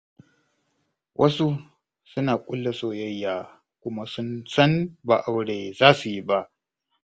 Wasu suna ƙulla soyayya, kuma sun san ba aure za su yi ba.